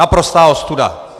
Naprostá ostuda!